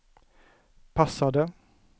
passade